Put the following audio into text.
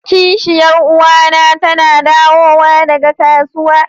kishiyar uwa na tana dawowa daga kasuwa.